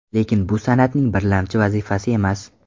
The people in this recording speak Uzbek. Lekin bu san’atning birlamchi vazifasi emas.